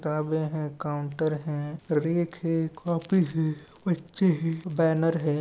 किताबे है काउंटर है रीख है कॉपी है बच्चे है बेनर है ।